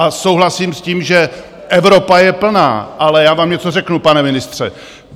A souhlasím s tím, že Evropa je plná, ale já vám něco řeknu, pane ministře.